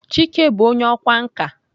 Chike bụ onye ọkwá nkà.